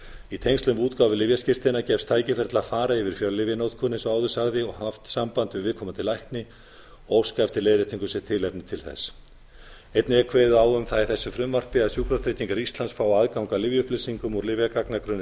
í tengslum við útgáfu lyfjaskírteina gefst tækifæri til að fara yfir fjöllyfjanotkun eins og áður sagði og haft samband við viðkomandi lækni og óska eftir leiðréttingu sé tilefni til þess einnig er kveðið á um það í þessu frumvarpi að sjúkratryggingar íslands fái aðgang að lyfja upplýsingum úr lyfjagagnagrunni